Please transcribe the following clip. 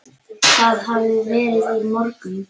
Það hafði verið í morgun.